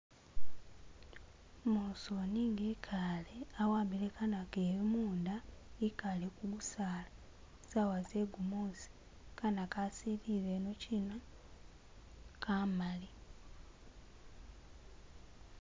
Umusooni nga ekaale awambile kana keewe munda ekaale kugusala saawa ze gumuusi , kana ka silile ino china kamali.